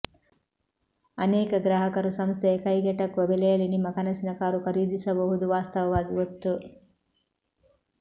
ಅನೇಕ ಗ್ರಾಹಕರು ಸಂಸ್ಥೆಯ ಕೈಗೆಟುಕುವ ಬೆಲೆಯಲ್ಲಿ ನಿಮ್ಮ ಕನಸಿನ ಕಾರು ಖರೀದಿಸಬಹುದು ವಾಸ್ತವವಾಗಿ ಒತ್ತು